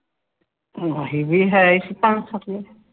ਅਸੀਂ ਵੀ ਹੈਨ੍ਹੀ ਸੀ ਪੰਜ ਸੱਤ ਜਾਣੇ